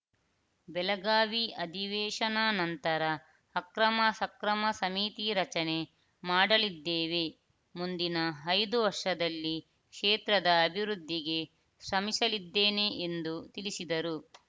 ಬೆಳಗಾವಿ ಅಧಿವೇಶನ ನಂತರ ಅಕ್ರಮ ಸಕ್ರಮ ಸಮಿತಿ ರಚನೆ ಮಾಡಲಿದ್ದೇವೆ ಮುಂದಿನ ಐದು ವರ್ಷದಲ್ಲಿ ಕ್ಷೇತ್ರದ ಅಭಿವೃದ್ದಿಗೆ ಶ್ರಮಿಸಲಿದ್ದೇನೆ ಎಂದು ತಿಳಿಸಿದರು